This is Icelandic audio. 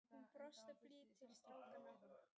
Hún brosti blítt til strákanna.